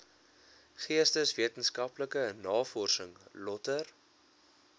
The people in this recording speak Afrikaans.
geesteswetenskaplike navorsing lötter